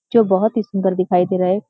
जो बहुत ही सुन्‍दर दिखाई दे रहा है।